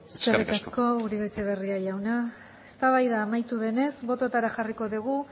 eskerrik asko eskerrik asko uribe etxebarria jauna eztabaida amaitu denez bototara jarriko dugu